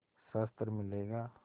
शस्त्र मिलेगा